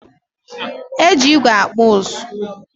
Eji ígwè akpụ ụzụ